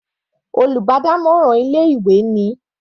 Olùbádámọ̀ràn ilé ìwé ni.